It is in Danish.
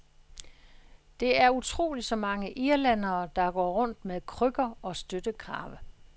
Det er utroligt så mange irlændere, der går rundt med krykker og støttekrave.